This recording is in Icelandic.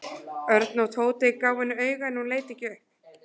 Örn og Tóti gáfu henni auga en hún leit ekki upp.